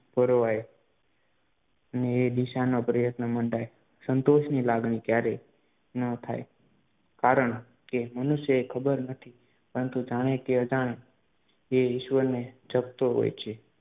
પરોવાય. એ દિશાનો પ્રયન્ત મંડાય સંતોષની લાગણી ક્યારેય ન થાય કારણ કે મનુષ્યને ખબર નથી પરંતુ જાણે કે અજાણે એ ઈશ્વરને જપતો હોય છે